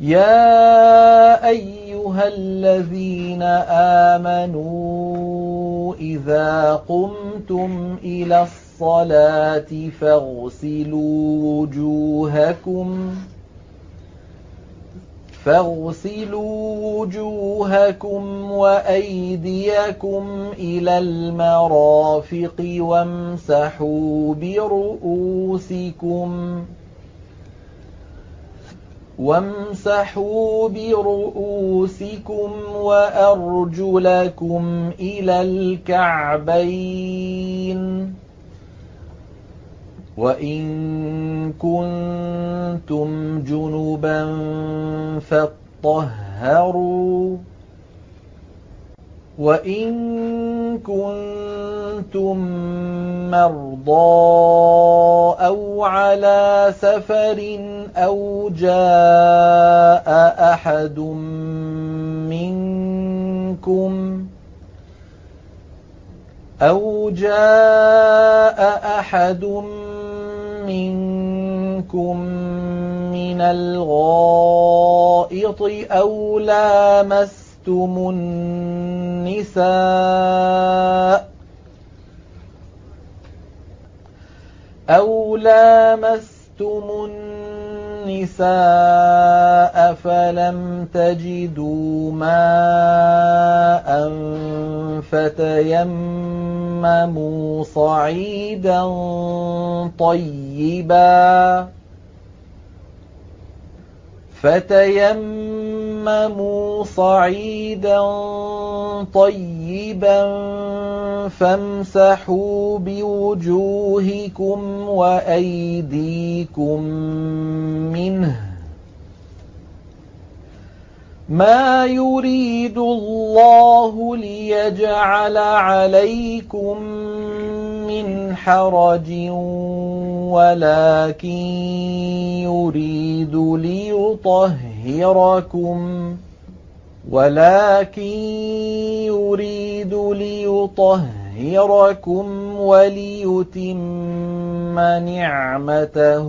يَا أَيُّهَا الَّذِينَ آمَنُوا إِذَا قُمْتُمْ إِلَى الصَّلَاةِ فَاغْسِلُوا وُجُوهَكُمْ وَأَيْدِيَكُمْ إِلَى الْمَرَافِقِ وَامْسَحُوا بِرُءُوسِكُمْ وَأَرْجُلَكُمْ إِلَى الْكَعْبَيْنِ ۚ وَإِن كُنتُمْ جُنُبًا فَاطَّهَّرُوا ۚ وَإِن كُنتُم مَّرْضَىٰ أَوْ عَلَىٰ سَفَرٍ أَوْ جَاءَ أَحَدٌ مِّنكُم مِّنَ الْغَائِطِ أَوْ لَامَسْتُمُ النِّسَاءَ فَلَمْ تَجِدُوا مَاءً فَتَيَمَّمُوا صَعِيدًا طَيِّبًا فَامْسَحُوا بِوُجُوهِكُمْ وَأَيْدِيكُم مِّنْهُ ۚ مَا يُرِيدُ اللَّهُ لِيَجْعَلَ عَلَيْكُم مِّنْ حَرَجٍ وَلَٰكِن يُرِيدُ لِيُطَهِّرَكُمْ وَلِيُتِمَّ نِعْمَتَهُ